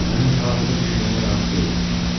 Sənin fəlakətə düşməyinə razı deyiləm.